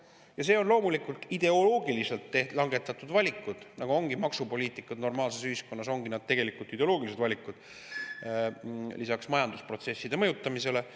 Ja need on loomulikult ideoloogiliselt langetatud valikud, nagu maksupoliitika normaalses ühiskonnas ongi tegelikult ideoloogilised valikud lisaks majandusprotsesside mõjutamisele.